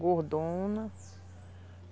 Gordona.